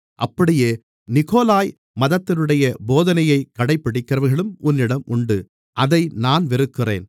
அப்படியே நிக்கொலாய் மதத்தினருடைய போதனையைக் கடைபிடிக்கிறவர்களும் உன்னிடம் உண்டு அதை நான் வெறுக்கிறேன்